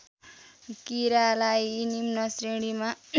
कीरालाई निम्न श्रेणीमा